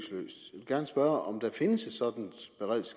gerne spørge om der findes